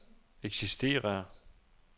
eksisterer